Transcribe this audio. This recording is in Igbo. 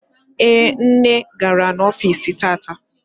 Ee, nne gara ọfici tata.